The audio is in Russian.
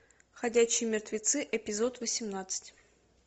ходячие мертвецы эпизод восемнадцать